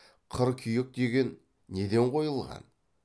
қыркүйек деген неден қойылған